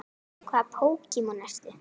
Hvaða Pokémon ertu?